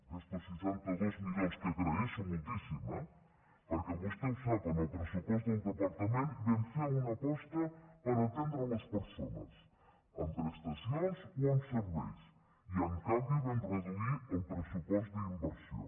aquests seixanta dos milions que agraeixo moltíssim eh perquè vostè ho sap en el pressupost del departament vam fer una aposta per atendre les persones amb prestacions o amb serveis i en canvi vam reduir el pressupost d’inversió